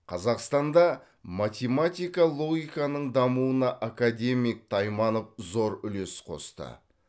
қазақстанда математика логиканың дамуына академик тайманов зор үлес қосты